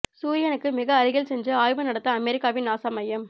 சூரியனுக்கு மிக அருகில் சென்று ஆய்வு நடத்த அமெரிக்காவின் நாசா மையம்